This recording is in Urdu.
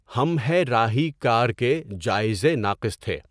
ہم ہے راہی کار کے جائزے ناقص تھے۔